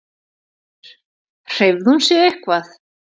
Sigríður: Hreyfði hún sig eitthvað?